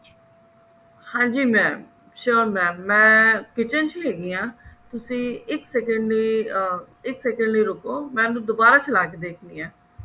ਹਾਂਜੀ mam sure mam ਮੈਂ kitchen ਚ ਹੈਗੀ ਆਂ ਤੁਸੀਂ ਇੱਕ second ਅਹ ਇਕ second ਲਈ ਰੁਕੋ ਮੈਂ ਉਹਨੂੰ ਦੁਬਾਰਾ ਚਲਾ ਕਿ ਦੇਖਦੀ ਹਾਂ